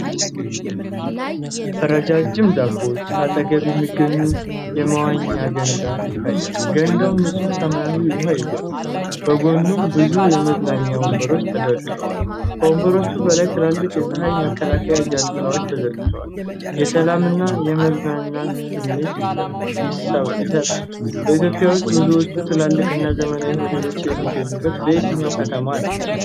ረጃጅም ዛፎች አጠገብ የሚገኝ የመዋኛ ገንዳ ይታያል። ገንዳው ንጹህ ሰማያዊ ውሀ ይዟል፤ በጎኑም ብዙ የመዝናኛ ወንበሮች ተሰድረዋል። ከወንበሮቹ በላይ ትላልቅ የፀሐይ መከላከያ ጃንጥላዎች ተዘርግተዋል። የሰላም እና የመዝናናት ስሜት ይሰጣል። በኢትዮጵያ ውስጥ ብዙዎቹ ትላልቅና ዘመናዊ ሆቴሎች የሚገኙት በየትኛው ከተማ ነው?